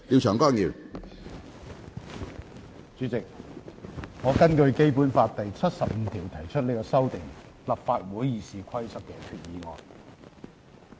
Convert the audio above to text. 主席，我根據《基本法》第七十五條提出這項修訂立法會《議事規則》的決議案。